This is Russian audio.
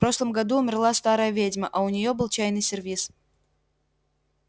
в прошлом году умерла старая ведьма а у неё был чайный сервиз